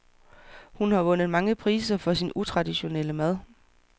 Hun har vundet mange priser for sin utraditionelle mad.